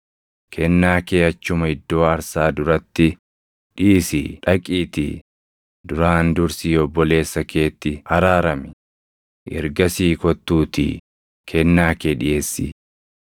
kennaa kee achuma iddoo aarsaa duratti dhiisii dhaqiitii duraan dursii obboleessa keetti araarami; ergasii kottuutii kennaa kee dhiʼeessi.